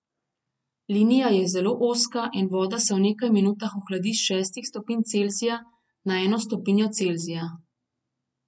Linija je zelo ozka in voda se v nekaj minutah ohladi s šestih stopinj Celzija na eno stopinjo Celzija.